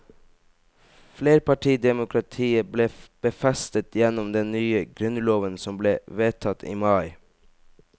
Flerpartidemokratiet ble befestet gjennom den nye grunnloven som ble vedtatt i mai.